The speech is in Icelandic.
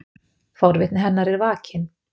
Forvitni hennar er vakin.